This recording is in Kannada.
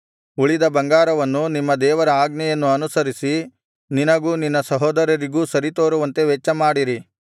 ಉಳಿದ ಬೆಳ್ಳಿಬಂಗಾರವನ್ನು ನಿಮ್ಮ ದೇವರ ಆಜ್ಞೆಯನ್ನು ಅನುಸರಿಸಿ ನಿನಗೂ ನಿನ್ನ ಸಹೋದರರಿಗೂ ಸರಿತೋರುವಂತೆ ವೆಚ್ಚಮಾಡಿರಿ